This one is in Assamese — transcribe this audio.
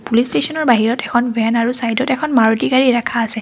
পুলিচ ষ্টেচনৰ বাহিৰত এখন ভেন আৰু চাইডত এখন মাৰুতি গাড়ী ৰাখা আছে।